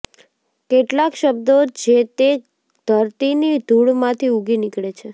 કેટલાક શબ્દો જે તે ધરતીની ધૂળમાંથી ઊગી નીકળે છે